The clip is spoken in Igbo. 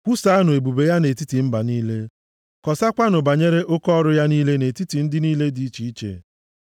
Kwusaanụ ebube ya nʼetiti mba niile, kọsakwanụ banyere oke ọrụ ya niile nʼetiti ndị niile dị iche iche.